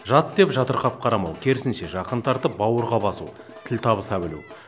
жат деп жатырқап қарамау керісінше жақын тартып бауырға басу тіл табыса білу